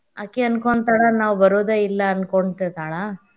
ಆಕಿ ಅನ್ಕೊಂತಾಳ ನಾವ್ ಬರೋದೇ ಇಲ್ಲಾ ಅನ್ಕೋತಿರತಾಳ.